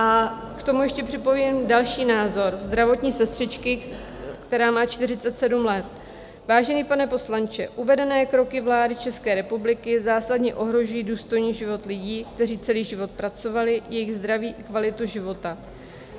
A k tomu ještě připojím další názor zdravotní sestřičky, která má 47 let: "Vážený pane poslanče, uvedené kroky vlády České republiky zásadně ohrožují důstojný život lidí, kteří celý život pracovali, jejich zdraví i kvalitu života.